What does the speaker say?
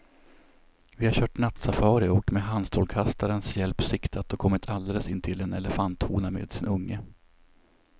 Vi har kört nattsafari och med handstrålkastarens hjälp siktat och kommit alldeles intill en elefanthona med sin unge.